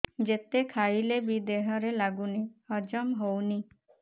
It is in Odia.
ଯେତେ ଖାଇଲେ ବି ଦେହରେ ଲାଗୁନି ହଜମ ହଉନି